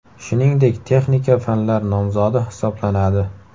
Shuningdek texnika fanlar nomzodi hisoblanadi.